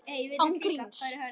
Án gríns.